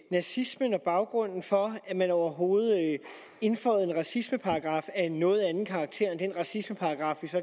nazismen og baggrunden for at man overhovedet indføjede en racismeparagraf af en noget anden karakter end den racismeparagraf vi